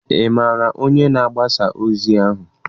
Ị maara onye na-agbasa ozi ahụ?